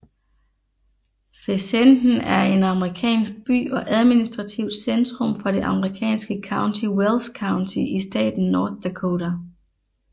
Fessenden er en amerikansk by og administrativt centrum for det amerikanske county Wells County i staten North Dakota